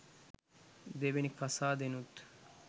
දෙවනි කසාදෙනුත්